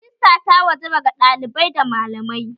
Rajista ta wajaba ga ɗalibai da malamai